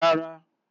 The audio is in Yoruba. Rárá.